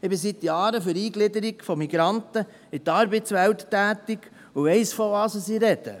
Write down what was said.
Ich bin seit Jahren für die Eingliederung von Migranten in die Arbeitswelt tätig und weiss, wovon ich spreche.